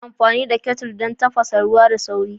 Ana amfani da kettles don tafasa ruwa da sauri